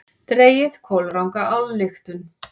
Dregið kolranga ályktun!